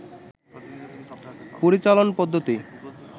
পরিচালন পদ্ধতি